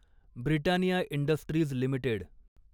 Britannia industries limited